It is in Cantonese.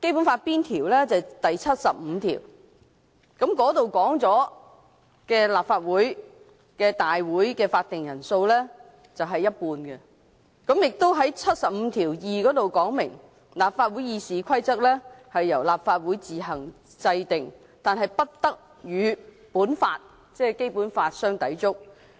就是第七十五條，當中訂明立法會舉行會議的法定人數為不少於全體議員的一半；第七十五條第二款亦訂明，"立法會議事規則由立法會自行制定，但不得與本法相抵觸"。